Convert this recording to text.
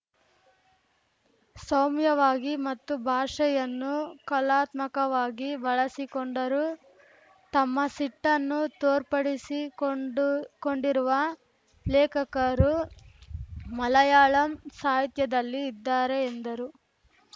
ಸೌಮ್ಯವಾಗಿ ಮತ್ತು ಭಾಷೆಯನ್ನು ಕಲಾತ್ಮಕವಾಗಿ ಬಳಸಿಕೊಂಡರು ತಮ್ಮ ಸಿಟ್ಟನ್ನು ತೋರ್ಪಡಿಸಿಕೊಂಡು ಕೊಂಡಿರುವ ಲೇಖಕರೂ ಮಲಯಾಳಂ ಸಾಹಿತ್ಯದಲ್ಲಿ ಇದ್ದಾರೆ ಎಂದರು